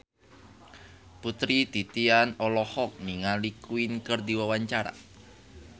Putri Titian olohok ningali Queen keur diwawancara